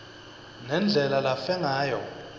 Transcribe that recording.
nendlela lafe ngayo